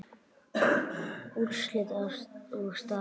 Úrslit og staða